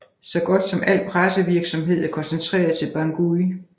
Så godt som al pressevirksamhed er koncentreret til Bangui